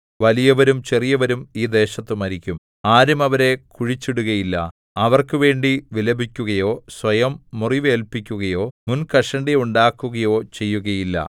വലിയവരും ചെറിയവരും ഈ ദേശത്തു മരിക്കും ആരും അവരെ കുഴിച്ചിടുകയില്ല അവർക്കുവേണ്ടി വിലപിക്കുകയോ സ്വയം മുറിവേല്പിക്കുകയോ മുൻകഷണ്ടിയുണ്ടാക്കുകയോ ചെയ്യുകയില്ല